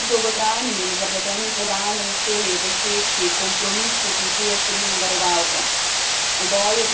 Vesela sem, da smo kljub dolgotrajnim in zapletenim pogajanjem uspeli doseči kompromis, ki vključuje številne varovalke.